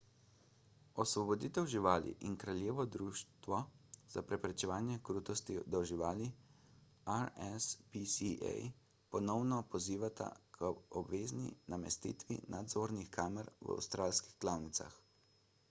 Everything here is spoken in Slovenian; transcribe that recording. osvoboditev živali in kraljevo društvo za preprečevanje krutosti do živali rspca ponovno pozivata k obvezni namestitvi nadzornih kamer v avstralskih klavnicah